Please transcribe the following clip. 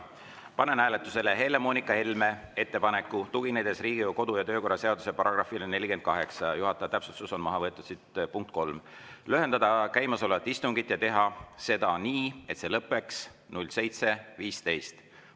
Panen hääletusele Helle-Moonika Helme ettepaneku, et tuginedes Riigikogu kodu‑ ja töökorra seaduse §‑le 48 – juhataja täpsustus: maha on võetud siit "punkt 3" –, lühendada käimasolevat istungit ja teha seda nii, et see lõppeks 7.15.